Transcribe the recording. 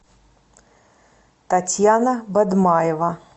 татьяна бадмаева